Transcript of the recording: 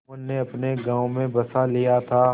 जुम्मन ने अपने गाँव में बसा लिया था